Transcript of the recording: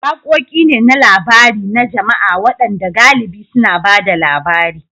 Waƙoƙi ne na labari na jama'a waɗanda galibi suna ba da labari.